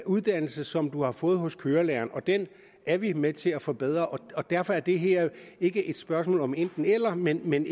uddannelse som du har fået hos kørelæreren den er vi med til at forbedre og derfor er det her ikke et spørgsmål om enten eller men men